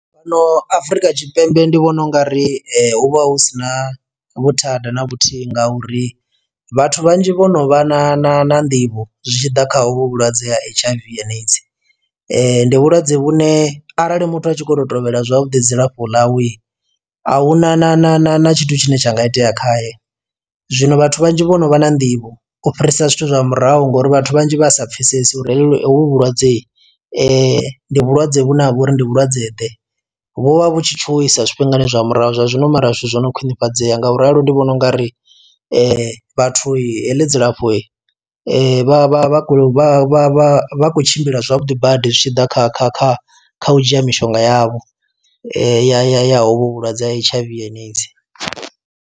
Fhano Afrika Tshipembe ndi vhona ungari hu vha hu si na vhuthada na vhuthihi nga uri vhathu vhanzhi vho no vha na na na nḓivho zwi tshi ḓa kha hovhu vhulwadze ha H_I_V and AIDS, ndi vhulwadze vhune arali muthu a tshi kho to tovhela zwavhuḓi dzilafho ḽawe ahuna na na na na tshithu tshine tsha nga itea khaye zwino vhathu vhanzhi vhono vha na nḓivho u fhirisa zwithu zwa murahu ngori vhathu vhanzhi vha sa pfesesi uri heḽi hovhu vhulwadze ndi vhulwadze vhune ha vha uri ndi vhulwadze ḓe, vho vha vhu tshi tshuwisa zwifhingani zwa murahu zwa zwino mara zwithu zwo no khwinifhadzeya ngauri ralo ndi vhona ungari vhathu heḽi dzilafho vha vha vha khou vha khou tshimbila zwavhuḓi badi zwi tshi ḓa kha kha kha kha u dzhia mishonga yavho ya ya ya hovho vhulwadze ha H_I_V and AIDS.